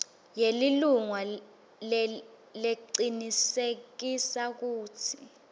yelilunga lecinisekisa kutsi